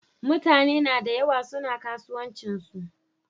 Mutaneda yawa suna kasuwancinsu.